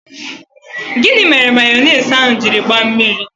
Gịnị mere mayonise ahụ jiri gbaa mmiri?